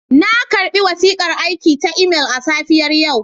Na karɓi wasiƙar aiki ta imel a safiyar yau.